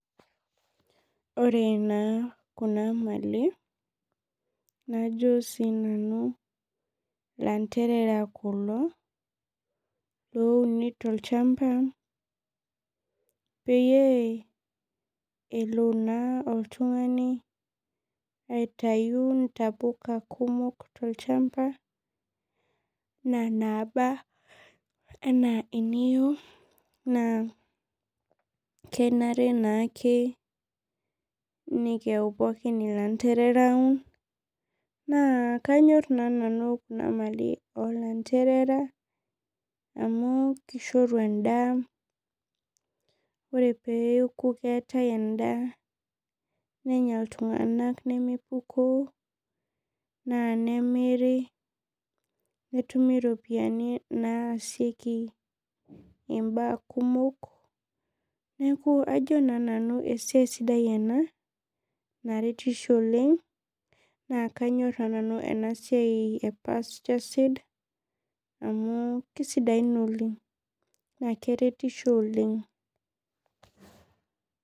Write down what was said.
Ore na kuna mali najo si nanu landerera kulo louni tolchamba peyie elo na oltungani aitau ntapuka kumok tolchamba ana naba ana niyieu na kenare naake nikiyau pookin ilanderera na kanyor na nanu kuna mali iolanderera amu kishoru endaa ore peoku keetae endaa nenya ltunganak nemepukooo na nemiri netumi ropiyani naasieki mbaa kumok neaku ajo na sinanu esiai sidai ena naretisho oleng na kanyor na nanu enasiai e pasture seed amukisidain oleng na keretisho oleng